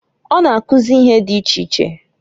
O na-akụzị ihe di iche iche.